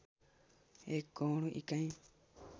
एक गौण इकाई